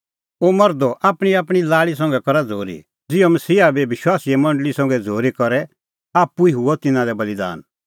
ओ मर्धो आपणींआपणीं लाल़ी संघै करा झ़ूरी ज़िहअ मसीहा बी विश्वासीए मंडल़ी संघै झ़ूरी करी करै आप्पू ई हुअ तिन्नां लै बल़ीदान